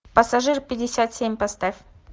пассажир пятьдесят семь поставь